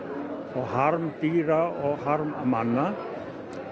og harm dýra og harm manna